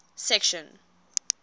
section